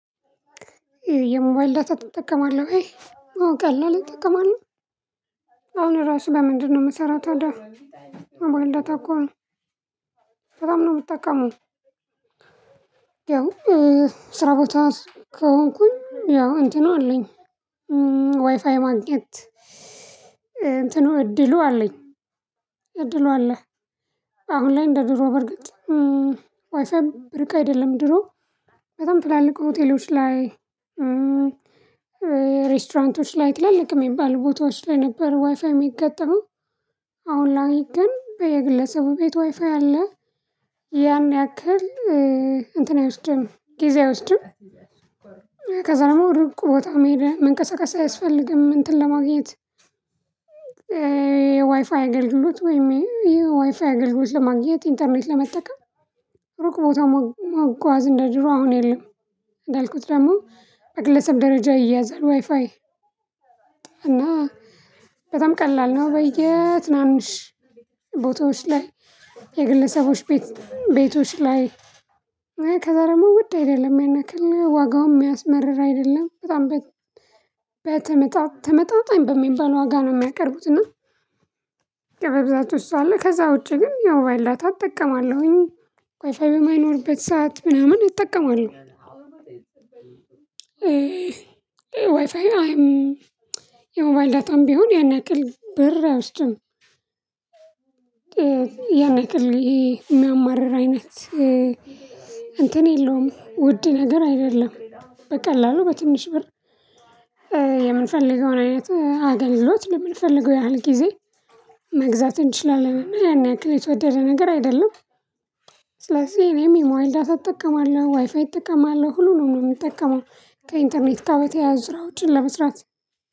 የሞባይል ዳታ ትጠቀማለሁ ወይ? አዎ ቀላል እጠቀማለሁ አሁን ራሱ በምንድነው ምሰራው ታዲያ ሞባይል ዳታ እኮ ነው። በጣም ነው የምትጠቀመው። ያው ስራ ቦታ ከሆንኩኝ ያው እንትኑ አለኝ። ዋይፋይ ማግኘት እንትኑ እድሉ አለኝ እድሉ አለ። አሁን ላይ እንደ ድሮ በርግጥ እ ዋይፋይ ብርቅ አይደለም። ድሮ በጣም ትላልቅ ሆቴሎች ላይ እ ሬስቶራንቶች ላይ ትላልቅ የሚባል ቦታዎች ላይ ነበር ዋይፋይ የሚገጠመው። አሁን ላይ ግን በየግለሰቡ ቤት ዋይፋይ አለ። ያን ያክል እ እንትን አይወስድም ጊዜ አይወስድም። ከዛ ደግሞ ሩቅ ቦታ መሄድ መንቀሳቀስ አያስፈልግም እንትን ለማግኘት። የዋይፋይ አገልግሎት ወይም የዋይፋይ አገልግሎት ለማግኘት ኢንተርኔት ለመጠቀም ሩቅ ቦታ መጓዝ እንደ ድሮ አሁን የለም። እንዳልኩት ደግሞ በግለሰብ ደረጃ ይያዛል ዋይፋይ። እና በጣም ቀላል ነው። በየ ትናንሽ ቦታዎች ላይ የግለሰቦች ቤት ቤቶች ላይ እ ከዛ ደግሞ ውድ አይደለም። ያን ያክል ዋጋውም የሚያስመርር አይደለም በጣም በተመጣ ተመጣጣኝ በሚባል ዋጋ ነው የሚያቀርቡት። እና በብዛት እሱ አለ ከዛ ውጪ ግን ያው ሞባይል ዳታ እጠቀማለሁኝ ዋይፋፍይ በማይኖርበት ሰዓት ምናምን እጠቀማለሁ። ዋይፋይ አይም የሞባይል ዳታም ቢሆን ያን ያክል ብር አይወስድም። ያን ያክል ይሄ የሚያማርር አይነት እ እንትን የለውም ውድ ነገር አይደለም። በቀላሉ በትንሽ ብር እ የምንፈልገውን አይነት እ አገልግሎት ለምንፈልገው ያህል ጊዜ መግዛት እንችላለንና ያን ያክል የተወደደ ነገር አይደለም። ስለዚህ እኔም የሞባይል ዳታ እጠቀማለሁ ዋይፋይ እጠቀማለሁ ሁሉንም ነው የምጠቀመው ከኢንተርኔት ጋር በተያያዘ ስራዎችን ለመስራት